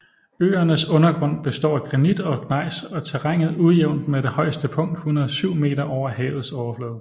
Øernes undergrund består af granit og gnejs og terrænet ujævnt med det højeste punkt 107 meter over havets overflade